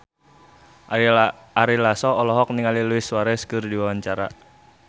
Ari Lasso olohok ningali Luis Suarez keur diwawancara